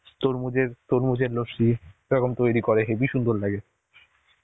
তরমুজের তরমুজের লস্যি এরকম তৈরি করে হেবি সুন্দর লাগে.